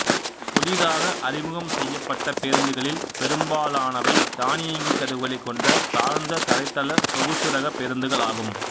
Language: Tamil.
புதிதாக அறிமுகம் செய்யப்பட்ட பேருந்துகளில் பெரும்பாலானவை தானியங்கி கதவுகளைக் கொண்ட தாழ்ந்த தரைத்தள சொகுசு ரக பேருந்துகள் ஆகும்